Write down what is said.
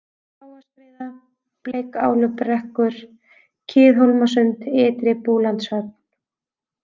Bláaskriða, Bleikálubekkur, Kiðhólmasund, Ytri-Búlandshöfn